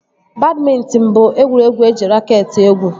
Badmịntịn bụ egwuregwu eji raket egwu